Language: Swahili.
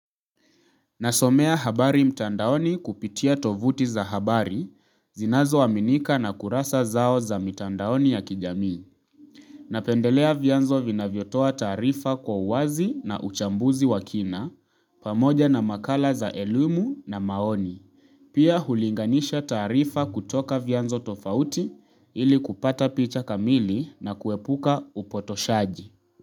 Nasomea habari mtandaoni kupitia tovuti za habari, zinazo aminika na kurasa zao za mitandaoni ya kijami. Napendelea vyanzo vina vyotoa taarifa kwa uwazi na uchambuzi wa kina, pamoja na makala za elimu na maoni. Pia hulinganisha tarifa kutoka vyanzo tofauti ili kupata picha kamili na kuepuka upotoshaji.